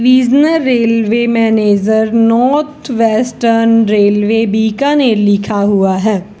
Regional railway manager north western railway Bikaner लिखा हुआ है।